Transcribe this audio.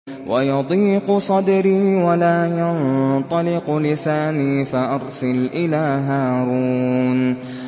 وَيَضِيقُ صَدْرِي وَلَا يَنطَلِقُ لِسَانِي فَأَرْسِلْ إِلَىٰ هَارُونَ